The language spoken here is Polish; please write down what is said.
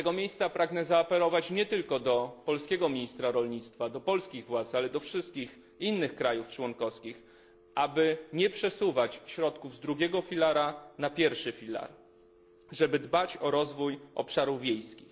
Z tego miejsca pragnę zaapelować nie tylko do polskiego ministra rolnictwa, do polskich władz, ale do wszystkich innych państw członkowskich, aby nie przesuwać środków z drugiego filaru na pierwszy filar, aby dbać o rozwój obszarów wiejskich.